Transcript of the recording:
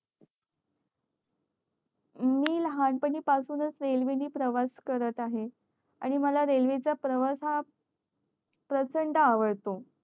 मी लहान पणा पासून च रेल्वे ने प्रवास करत आहे आणि मला रेल्वे चा प्रवास हा प्रचंड आवडतो